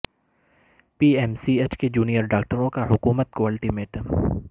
پی M C H کے جونیئرڈاکٹروں کا حکومت کو الٹی میٹم